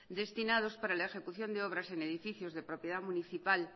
destinados para la ejecución de obras en edificios de propiedad municipal